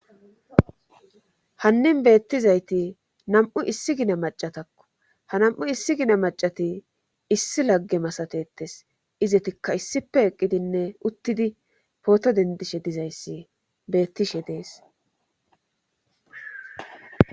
hannin beettizayti nam7u issi gina macatakko ha nam7u issi gina macati issi lagge masatetes izetikka issippe eqqidinne uttidi pooto dendishe dizayssi beettishe dees